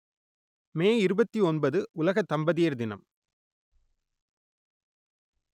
மே இருபத்தி ஒன்பது உலக தம்பதியர் தினம்